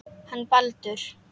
Hann Baldur.